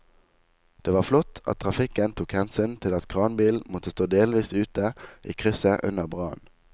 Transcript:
Det var flott at trafikken tok hensyn til at kranbilen måtte stå delvis ute i krysset under brannen.